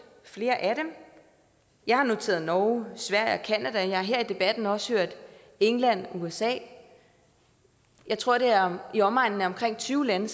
flere af dem jeg har noteret norge sverige og canada og jeg har her i debatten også hørt england og usa jeg tror det er i omegnen af tyve lande